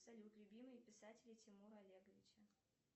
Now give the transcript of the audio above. салют любимые писатели тимура олеговича